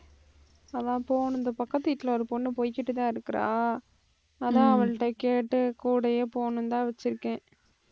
அதான் போகணும் இந்த பக்கத்து வீட்டுல ஒரு பொண்ணு போய்கிட்டுதான் இருக்கிறா. அதான் அவள்கிட்ட கேட்டு கூடயே போகணும்னுதான் வச்சிருக்கேன்